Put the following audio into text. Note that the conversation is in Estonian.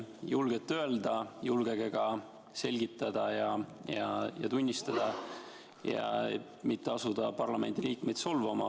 Julgete öelda, julgege ka selgitada ja tunnistada, aga mitte ärge asuge parlamendiliikmeid solvama.